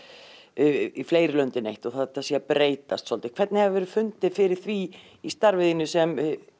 í fleiri lönd en eitt og að þetta sé að breytast svolítið hvernig hefurðu fundið fyrir því í starfi þínu sem